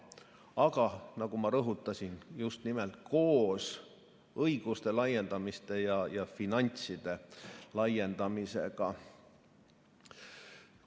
Aga nagu ma rõhutasin: just nimelt koos õiguste ja finantside laiendamisega.